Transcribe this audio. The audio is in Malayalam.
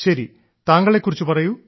ശരി താങ്കളെക്കുറിച്ച് പറയൂ